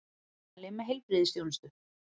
Meðmæli með heilbrigðisþjónustu